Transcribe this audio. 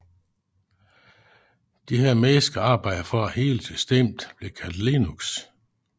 Disse mennesker arbejder for at hele systemet bliver kaldt Linux